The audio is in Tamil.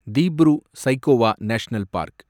Dibru Saikhowa national park